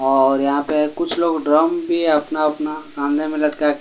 और यहां पे कुछ लोग ड्रम भी अपना अपना कांधे में लटका के--